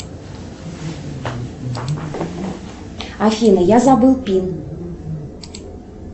афина я забыл пин